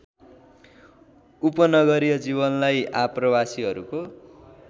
उपनगरीय जीवनलाई आप्रवासीहरूको